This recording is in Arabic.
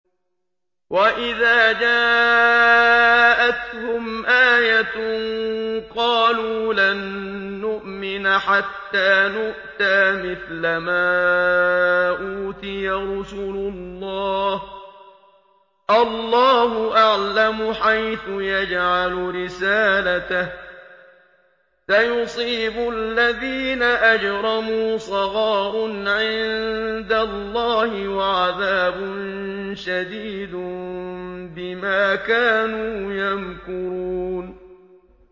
وَإِذَا جَاءَتْهُمْ آيَةٌ قَالُوا لَن نُّؤْمِنَ حَتَّىٰ نُؤْتَىٰ مِثْلَ مَا أُوتِيَ رُسُلُ اللَّهِ ۘ اللَّهُ أَعْلَمُ حَيْثُ يَجْعَلُ رِسَالَتَهُ ۗ سَيُصِيبُ الَّذِينَ أَجْرَمُوا صَغَارٌ عِندَ اللَّهِ وَعَذَابٌ شَدِيدٌ بِمَا كَانُوا يَمْكُرُونَ